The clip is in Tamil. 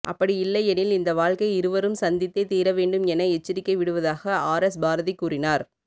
அப்படி இல்லை எனில் இந்த வழக்கை இருவரும் சந்தித்தே தீர வேண்டும் என எச்சரிக்கை விடுவதாக ஆர்எஸ் பாரதி கூறினார்